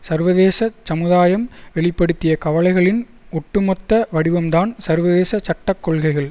சர்வதேச சமுதாயம் வெளி படுத்திய கவலைகளின் ஒட்டுமொத்த வடிவம்தான் சர்வதேச சட்ட கொள்கைகள்